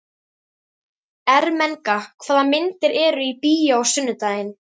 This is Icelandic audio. Ermenga, hvaða myndir eru í bíó á sunnudaginn?